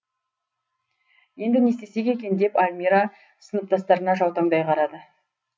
енді не істесек екен деп альмира сыныптастарына жаутаңдай қарады